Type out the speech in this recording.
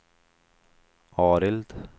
Arild